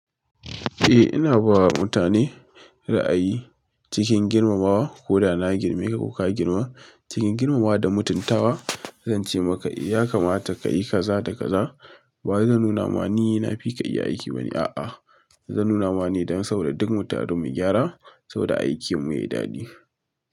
Eh ina bawa mutane ra'ayi cikin girmamawa ko da na girme ka ko ka girman cikin girmamawa da mutuntawa zan ce maka ya kamata ka yi kaza da kaza. Ba zan nuna ma ni na fi ka iya aiki ba ne. A'a zan nuna ma ne don sabo da duk mu taro mu gyara sabo da aikin mu yayi daɗi.